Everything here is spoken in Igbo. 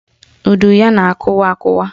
Udu na-akụwa akụwa